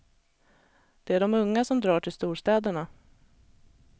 Det är de unga som drar till storstäderna.